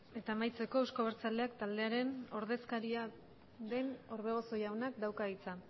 eta amaitzeko euzko abertzaleak taldearen ordezkaria den orbegozo jaunak dauka hitza